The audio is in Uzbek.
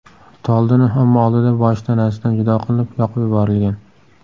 Toldini omma oldida boshi tanasidan judo qilinib, yoqib yuborilgan.